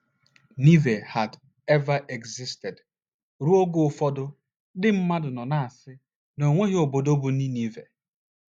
neveh had ever existed! Ruo oge ụfọdụ, ndị mmadụ nọ na - asị na o nweghị obodo bụ́ Ninive.